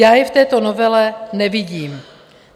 Já je v této novele nevidím.